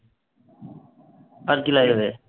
আর কি লাগবে?